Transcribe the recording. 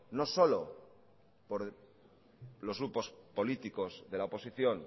no solo por los grupos políticos de la oposición